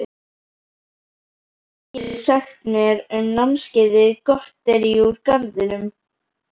Hvað geturðu sagt mér um námskeiðið Gotterí úr garðinum?